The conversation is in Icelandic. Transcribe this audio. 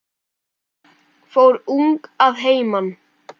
Fór ung að heiman.